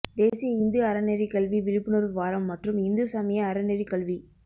தேசிய இந்து அறநெறிக்கல்வி விழிப்புணர்வு வாரம் மற்றும் இந்து சமய அறநெறிக்கல்வி